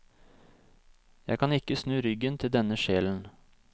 Jeg kan ikke snu ryggen til denne sjelen.